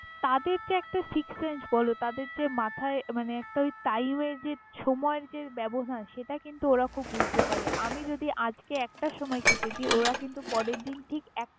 তাদের যে একটা sixth sense বলো তাদের যে মাথায় মানে একটা তাও যে।